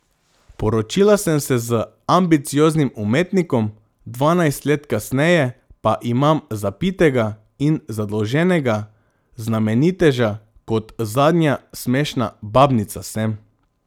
Poročila sem se z ambicioznim umetnikom, dvanajst let kasneje pa imam zapitega in zadolženega znameniteža, kot zadnja smešna babnica sem.